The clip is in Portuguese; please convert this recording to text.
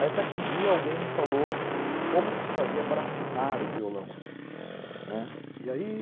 Até que um dia alguém me falou como que se fazia para afinar o violão.